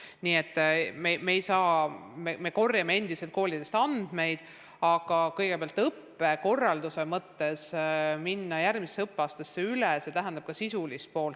Nii et me kogume endiselt koolidest andmeid, aga õppekorralduse mõttes on vaja minna järgmisesse õppeaastasse üle ka sisulises mõttes.